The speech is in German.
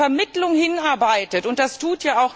Wer auf eine Vermittlung hinarbeitet z.